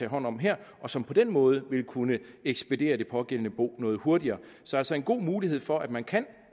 hånd om her og som på den måde vil kunne ekspedere det pågældende bo noget hurtigere så altså en god mulighed for at man kan